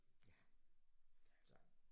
Ja. Så